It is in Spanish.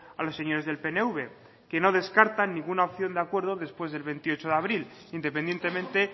a los señores del pnv que no descartan ninguna opción de acuerdo después del veintiocho de abril independientemente